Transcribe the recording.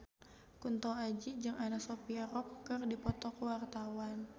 Kunto Aji jeung Anna Sophia Robb keur dipoto ku wartawan